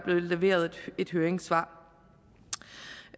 leveret et høringssvar